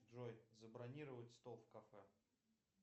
джой забронировать стол в кафе